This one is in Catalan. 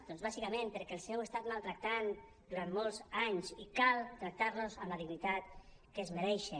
doncs bàsicament perquè els heu estat maltractant durant molts anys i cal tractar los amb la dignitat que es mereixen